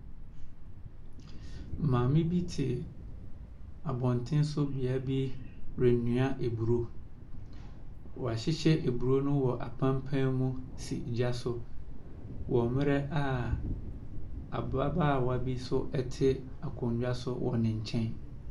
Maame bi te abɔntene so bea bi renoa aburo. Wahyehyɛ aburo no wɔ apampaa mu si gya so wɔ mmerɛ a ababaawa bi nso te akonnwa so wɔ ne nkyɛn.